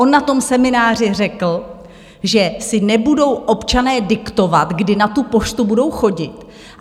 On na tom semináři řekl, že si nebudou občané diktovat, kdy na tu poštu budou chodit.